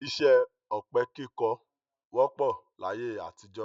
Iṣẹ́ ọ̀pẹ-kíkọ wọ́pọ̀ láyé àtijọ́.